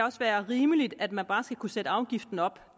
er rimeligt at man bare skal kunne sætte afgiften op